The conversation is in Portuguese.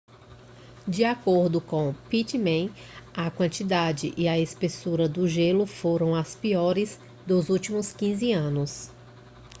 de acordo com pittman a quantidade e a espessura do gelo foram as piores dos últimos 15 anos